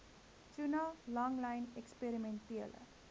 tuna langlyn eksperimentele